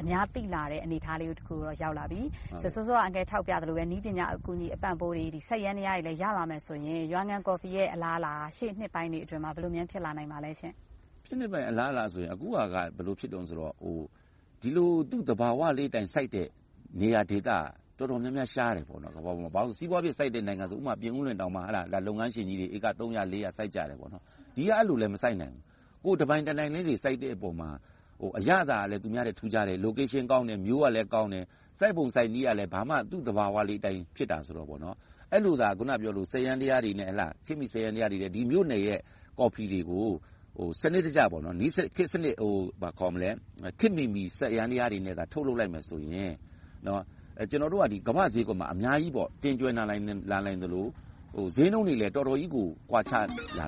အများသိလာတဲ့ အနေအထားလေးကိုတော့ ရောက်လာပြီ။ စောစောက အန်ကယ်ပြောပြသလိုပဲ နည်းပညာ အကူအညီအပံ့အပိုးတွေ စက်ယန္တရားတွေ ရလာမယ်ဆိုရင် ရွာငံကော်ဖီရဲ့ အလားအလာက ရှေ့နှစ်ပိုင်းတွေအတွင်းမှာ ဘယ်လိုများ ဖြစ်လာနိုင်ပါသလဲ။ ရှေ့နှစ်ပိုင်းအလားအလာဆိုတော့ အခုဟာက ဘယ်လိုဖြစ်သလဲဆိုတော့ ဒီလို သူ့သဘာဝလေးအတိုင်းစိုက်တဲ့ နေရာဒေသက တော်တော်လေးရှားတယ်။ စီးပွားဖြစ်စိုက်တဲ့ နိုင်ငံဆိုရင် ဥပမာ ပြင်ဦးလွင်မှာ လုပ်ငန်းရှင်ကြီးတွေ ဧက သုံးရာလေးရာ စိုက်ကြတယ်။ ဒီက အဲဒီလို မစိုက်နိုင်ကြဘူး။ တပိုင်တနိုင်လေးတွေ စိုက်ကြတဲ့အပေါ်မှာ အရသာကလည်း သူများနဲ့ ထူးခြားတယ်။ နေရာဒေသကောင်းတယ်။ မျိုးကလည်းကောင်းတယ်။ စိုက်ပုံစိုက်နည်းကလည်း သူ့သဘာဝလေးအတိုင်း ဖြစ်တာဆိုတော့ အဲဒီလိုသာ စက်ယန္တရားတွေနဲ့ ဒီမြို့နယ်ရဲ့ ကော်ဖီတွေကို ခေတ်မီစက်ယန္တရားတွေနဲ့ စနစ်တကျ ထုတ်လုပ်လိုက်မယ်ဆိုရင် ကျနော်တို့က ကမ္ဘာ့ဈေးကွက်မှာ အများကြီး တင်သွင်းနိုင်သလို၊ ဈေးနှုန်းတွေလည်း တော်တော်ကြီးကို ကွာခြားလာ